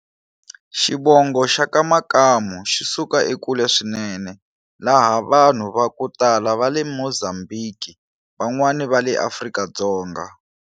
Xivongo Xaka Makamu xisuka ekule swinene laha vanhu vaku tala vale Muzambiki vanwani vale Afrika-Dzonga.